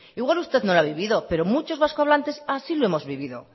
igual usted no lo ha vivido pero muchos vasco hablantes así lo hemos vivido